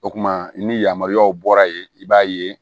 O kuma ni yamaruyaw bɔra yen i b'a ye